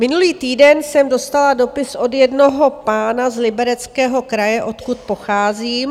Minulý týden jsem dostala dopis od jednoho pána z Libereckého kraje, odkud pocházím.